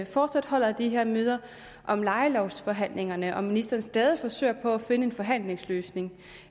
fortsat holder de her møder om lejelovsforhandlingerne om ministeren stadig forsøger på at finde en forhandlingsløsning